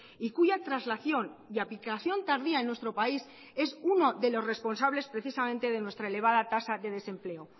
y cuya traslación y aplicación tardía en nuestro país es uno de los responsables precisamente de nuestra elevada tasa de desempleo